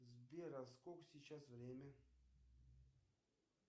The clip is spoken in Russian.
сбер а сколько сейчас время